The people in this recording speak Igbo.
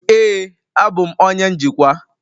Ee, abụ m onye njikwa.